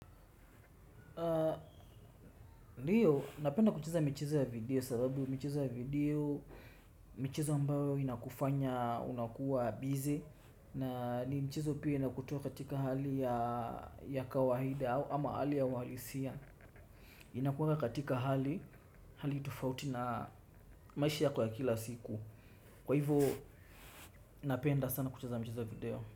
Ndiyo, napenda kucheza michezo ya video sababu michezo ya video michezo ambayo inakufanya unakuwa busy. Na ni mchezo pia inakutoa katika hali ya kawaida ama hali ya uhalisia. Inakuweka katika hali, hali tofauti na maishi yako ya kila siku. Kwa hivyo, napenda sana kucheza michezo ya video.